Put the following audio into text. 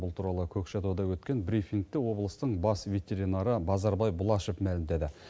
бұл туралы көкшетауда өткен брифингте облыстың бас ветеринары базарбай бұлашев мәлімдеді